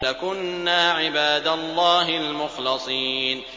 لَكُنَّا عِبَادَ اللَّهِ الْمُخْلَصِينَ